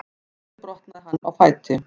Einnig brotnaði hann á fæti